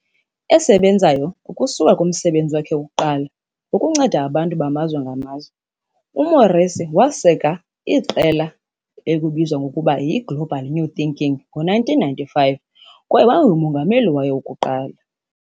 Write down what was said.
Esebenzayo ukusuka kumsebenzi wakhe wokuqala wokunceda abantu bamazwe ngamazwe, uMorrissey waseka i-Association for Global New Thinking ngo-1995 kwaye wayengumongameli wayo wokuqala.